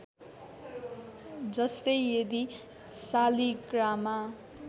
जस्तै यदि सालीग्रामा